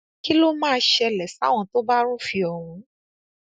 kí ló máa ṣẹlẹ sáwọn tó bá rúfin ọhún